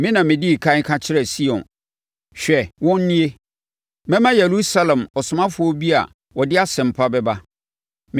Me na medii ɛkan ka kyerɛɛ Sion, ‘Hwɛ, wɔn nie!’ Mɛma Yerusalem ɔsomafoɔ bi a ɔde asɛmpa bɛba.